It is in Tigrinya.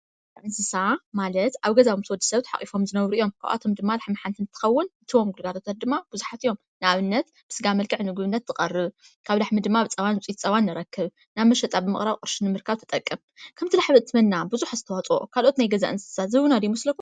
እንስሳ ማለት ኣብ ገዛ ምስ ወድ ሰብ ተሓቂፎም ዝነብሩ እዮም። ካብኣቶም ድማ ላሕሚ ሓንቲ እንትከውን እቶም ግልጋሎታ ድማ ብዙሓት እዮም ።ንኣብነት ብስጋ መልክዕ ንምግብነት ትቐርብ ካብ ላሕሚ ድማ ፃባን ውፅኢት ፀባን ንረክብ ናብ መሸጣ ብምቕራብ ቕርሺ ንምርካብ ትጠቅም ።ከምቲ ላሕሚ ትበና ብዙሕ ኣስተዋፅኦ ካልኦት ናይ ገዛ እንስሳት ዝህቡና ዶ ይመስለኩም?